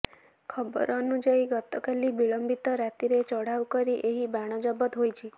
ଖବର ଅନୁଯାୟୀ ଗତକାଲି ବିଳମ୍ବିତ ରାତିରେ ଚଢ଼ାଉ କରି ଏହି ବାଣ ଜବତ ହୋଇଛି